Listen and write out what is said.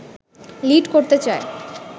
lead করতে চায়